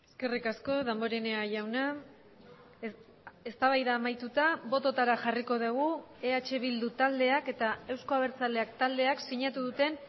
eskerrik asko damborenea jauna eztabaida amaituta bototara jarriko dugu eh bildu taldeak eta euzko abertzaleak taldeak sinatu duten